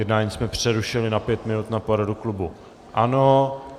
Jednání jsme přerušili na pět minut na poradu klubu ANO.